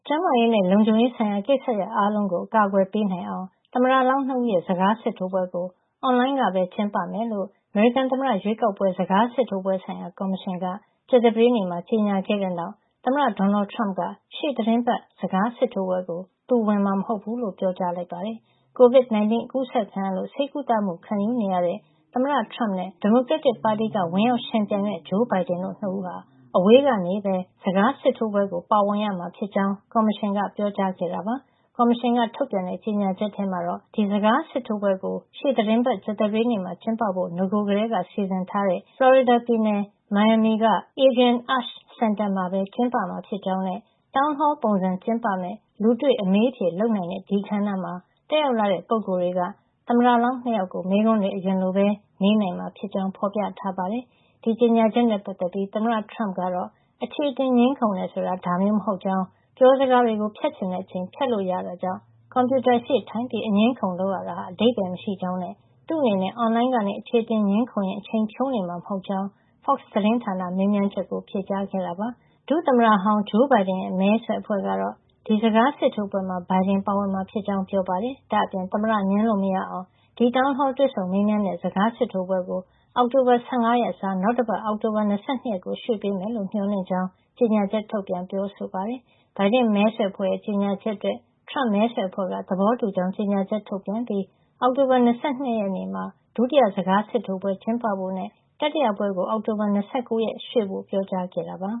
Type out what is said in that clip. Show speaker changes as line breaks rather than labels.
ျန်းမာရေးနဲ့ လုံခြုံရေးဆိုင်ရာ ကိစ္စရပ်အားလုံးကို အကာကွယ်ပေးနိုင်အောင် သမ္မတလောင်း ၂ ဦးရဲ့ စကာစစ်ထိုးပွဲကို အွန်လိုင်းကပဲ ကျင်းပမယ်လို့ အမေရိကန် သမ္မတရွေးကောက်ပွဲ စကားစစ်ထိုးပွဲဆိုင်ရာ ကော်မရှင်က ကြာသပတေးနေ့မှာ ကြေညာခဲ့တဲ့ နောက် သမ္မတ ဒေါ်နယ်ထရမ့်က ရှေ့သီတင်းပတ် စကားစစ်ထိုးပွဲကို သူဝင်မှာ မဟုတ်ဖူးလို့ ပြောကြားလိုက်ပါတယ်။ COVID-19 အကူးစက်ခံရလို့ ဆေးကုသမှုခံယူနေရတဲ့ သမ္မတထရမ့်နဲ့ ဒီမိုကရက်တစ်ပါတီက ဝင်ရောက်ယှဉ်ပြိုင်မယ့် ဂျိုးဘိုင်ဒင်တို့ ၂ ဦးဟာ အဝေးကနေပဲ စကားစစ်ထိုးပွဲကို ပါဝင်ရမှာ ဖြစ်ကြောင်း ကော်မရှင်က ပြောကြားခဲ့တာပါ။ ကော်မရှင်က ထုတ်ပြန်တဲ့ ကြေညာချက်ထဲမှာတော့ ဒီစကားစစ်ထိုးပွဲကို ရှေ့သီတင်းပတ် ကြာသပတေးနေ့မှာ ကျင်းပဖို့ နဂိုကတည်းက စီစဉ်ထားတဲ့ ဖလော်ရီဒါပြည်နယ် မီယာမီက Adrienne Arsht စင်တာမှာပဲ ကျင်းပမှာဖြစ်ကြောင်း နဲ့ Town hall ပုံစံ ကျင်းပမယ့် လူတွေ့အမေးအဖြေလုပ်နိုင်တဲ့ ဒီအခမ်းအနား မှာ တက်ရောက်လာတဲ့ ပုဂ္ဂိုလ်တွေက သမ္မတလောင်း၂ ယောက်ကို မေးခွန်းတွေ အရင်လိုပဲ မေးနိုင်မှာ ဖြစ်ကြောင်း ဖေါ်ပြထားပါတယ်။ ဒီလို ကြေညာချက်နဲ့ ပတ်သက်ပြီး သမ္မတထရမ့်ကတော့ အခြေအတင်ငြင်းခုံတယ် ဆိုတာ ဒါမျိုး မဟုတ်ကြောင်း၊ ပြောစကားတွေကို ဖြတ်ချင်တဲ့ အချိန် ဖြတ်လို့ ရတာကြောင့် ကွန်ပြုတာရှေ့ထိုင်ပြီး အငြင်းအခုံလုပ်တာဟာ အဓိပ္ပါယ်မရှိကြောင်းနဲ့ သူ့အနေနဲ့ အွန်လိုင်းကနေ အခြေအတင်ငြင်းခုံရင်း အချိန်ဖြုန်းနေမှာ မဟုတ်ကြောင်း Fox သတင်းဌာနရဲ့ မေးမြန်းချက်ကို ဖြေကြားခဲ့တာပါ။ ဒုသမ္မတဟောင်းဂျိုးဘိုင်ဒင်ရဲ့ မဲဆွယ်အဖွဲ့ကတော့ ဒီ စကားစစ်ထိုးပွဲမှာ ဘိုင်ဒင် ပါဝင် မှာ ဖြစ်ကြောင်း ပြောပါတယ်။ ဒါ့အပြင် သမ္မတ ငြင်းလို့ မရအောင် ဒီ Town Hall တွေ့ဆုံမေးမြန်း တဲ့ စကားစစ်ထိုးပွဲကို အောက်တိုဘာ ၁၅ ရက် အစား နောက်တပတ် အောက်တိုဘာ ၂၂ ရက်ကို ကော်မရှင်က ရွှေ့ပေးမယ်လို့ မေ ျှာ်လင့်ကြောင်း ကြေညာချက် ထုတ်ပြန်ပြောဆိုခဲ့ပါတယ်။ ဘိုင်ဒင့်မဲဆွယ်အဖွဲ့ ကြေညာချက်အတွက် ထရမ့်မဲဆွယ် အဖွဲ့က သဘောတူကြောင်း ကြေညာချက် ထုတ်ပြန်ခဲ့ပြီး အောက်တိုဘာ ၂၂ ရက်နေ့မှာ ဒုတိယ စကားစစ်ထိုးပွဲကျင်းပဖို့နဲ့ တတိယပွဲကို အောက်တိုဘာ ၂၉ ရက်နေ့ ကို ရွှေ့ဖို့ ပြောကြားခဲ့ပါ